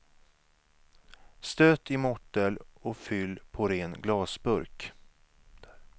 Stöt i mortel och fyll på ren glasburk.